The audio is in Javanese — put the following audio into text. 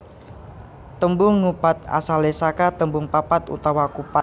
Tembung ngupat asalé saka tembung papat utawa kupat